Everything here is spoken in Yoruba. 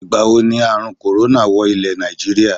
Ìgbàwo ni àrun "corona" wọ ilè Nàìjíríà?